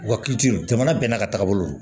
Wa hakili to jamana bɛɛ n'a ka tagabolo